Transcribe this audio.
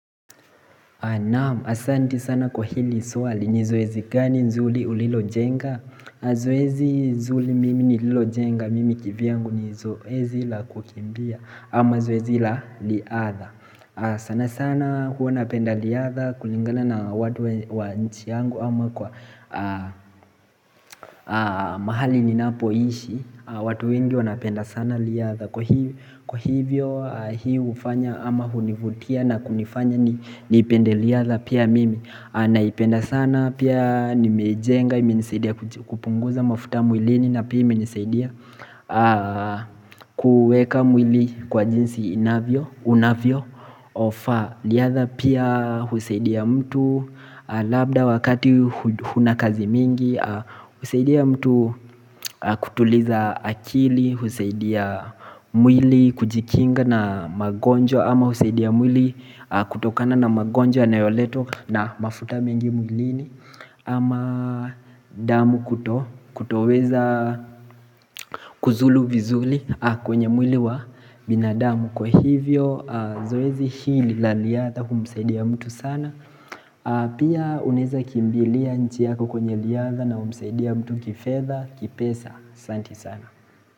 Naam, asanti sana kwa hili swali ni zoezi gani nzuri ulilojenga Zoezi nzuri mimi nililojenga, mimi kivyangu ni zoezi la kukimbia ama zoezi la riadha sana sana huwa napenda riadha kulingana na watu wa nchi yangu ama kwa mahali ninapoishi watu wengi wanapenda sana riadha Kwa hivyo hii hufanya ama hunivutia na kunifanya niipende riadha pia mimi naipenda sana pia nimeijenga, imenisaidia kupunguza mafuta mwilini na pia imenisaidia kueka mwili kwa jinsi inavyo, unavyofaa riadha pia husaidia mtu labda wakati huna kazi mingi husaidia mtu kutuliza akili, husaidia mwili kujikinga na magonjwa ama husaidia mwili kutokana na magonjwa yanayoletwa na mafuta mengi mwilini ama damu kuto, kutoweza kuzulu vizuri kwenye mwili wa binadamu Kwa hivyo, zoezi hili la riadha humsaidia mtu sana Pia unaweza kimbilia nchi yako kwenye riadha na humsaidia mtu kifedha, kipesa, asanti sana.